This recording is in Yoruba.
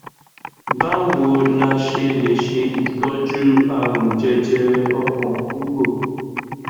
báwo la ṣe lè se itoju àrùn jẹjẹrẹ ọkàn kúrò